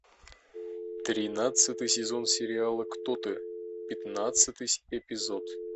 тринадцатый сезон сериала кто ты пятнадцатый эпизод